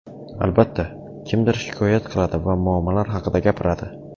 Albatta, kimdir shikoyat qiladi va muammolar haqida gapiradi.